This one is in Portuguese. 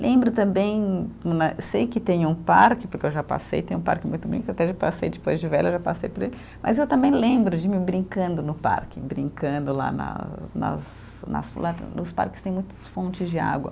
Lembro também né, sei que tem um parque, porque eu já passei, tem um parque muito bonito, até já passei depois de velha, já passei por ele, mas eu também lembro de mim brincando no parque, brincando lá na nas nas nos parques tem muitas fontes de água.